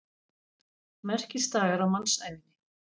Merkisdagar á mannsævinni.